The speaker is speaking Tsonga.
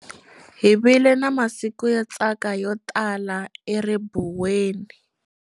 Hi vile na masiku yo tsaka yo tala eribuweni.